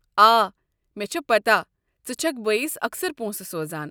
آ، مےٚ چھےٚ پتاہ ژٕ چھکھ بٲیس اکثر پونٛسہٕ سوزان ۔